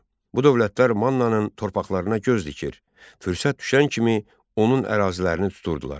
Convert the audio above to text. Bu dövlətlər Mannanın torpaqlarına göz dikir, fürsət düşən kimi onun ərazilərini tuturdular.